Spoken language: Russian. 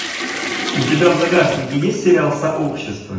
у тебя в загашнике есть сериал сообщество